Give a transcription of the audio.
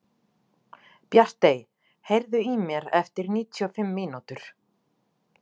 Bjartey, heyrðu í mér eftir níutíu og fimm mínútur.